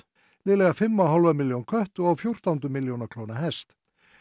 liðlega fimm og hálfa milljón kött og á fjórtándu milljón að klóna hest